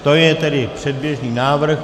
To je tedy předběžný návrh.